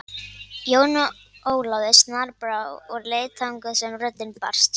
Jóni Ólafi snarbrá og leit þangað sem röddin barst.